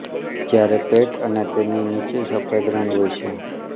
જ્યારે પેટ અને તેની નીચે સફેદ રંગ હોય છે